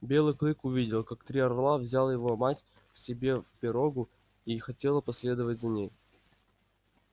белый клык увидел как три орла взял его мать к себе в пирогу и хотела последовать за ней